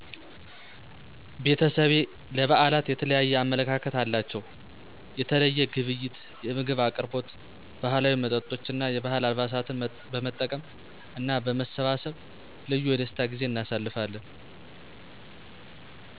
ቤተሰቤ ለብዓላት የተለየ አመለካከት አላቸው። የተለየ ግብይት፣ የምግብ አቅርቦት፣ ባህላዊ መጠጦች እና የባህል አልባሳትን በመጠቀም እና በመሰባሰብ ልዩ የደስታ ጊዜ እናሳልፋለን።